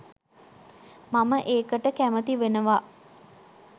මම ඒකට කැමති වෙනවා